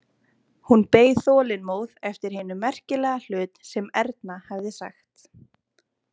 Hún beið þolinmóð eftir hinum merkilega hlut sem Erna hefði sagt.